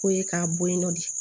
K'o ye k'a bɔ yen nɔ de